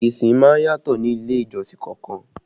Ìsìn má ń yàtọ̀ ní ilé ìjọsìn kan ọkan